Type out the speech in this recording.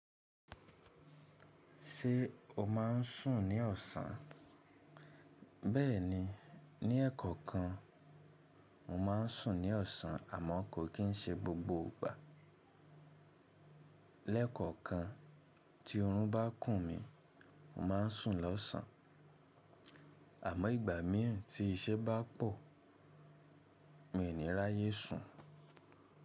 Ṣé o máa n sùn ní ọ̀sán? Bẹ́ẹ̀ni, ní ẹ̀kọ̀okan mo ma n sùn ní ọ̀sán àmọ́ kò kín n ṣe gbogbo ìgbà. Lẹ́ẹ̀kọ̀kan tí oorun bá kùn mí, mo ma n sùn lọ́sàn. Àmọ́ ìgbà míràn tí iṣẹ́ bá pọ̀, mi ò ní ráyé sùn.